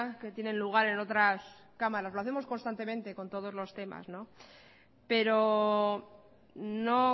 que tienen lugar en otras cámaras lo hacemos constantemente con todos los temas no pero no